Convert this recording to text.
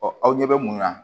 Ɔ aw ɲɛ bɛ mun na